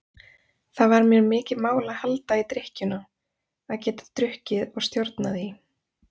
Það var mér mikið mál að halda í drykkjuna, að geta drukkið og stjórnað því.